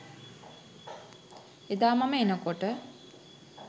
එදා මම එනකොට